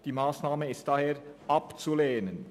Diese Massnahme ist daher abzulehnen.